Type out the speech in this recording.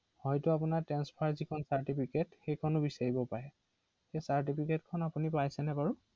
হয়